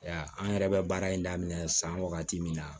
Ya an yɛrɛ bɛ baara in daminɛ san wagati min na